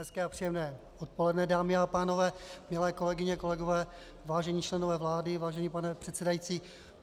Hezké a příjemné odpoledne dámy a pánové, milé kolegyně, kolegové, vážení členové vlády, vážený pane předsedající.